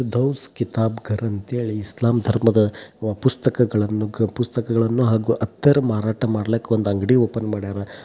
ಸಿರ್ದೋಸ್ ಕಿತಾಬ ಘರ ಮತ್ತು ಇಸ್ಲಾಂ ಧರ್ಮದ ಪುಸ್ತಕಗಳನ್ನು ಮಾರಾಟ ಮಾಡುತ್ತಾರೆ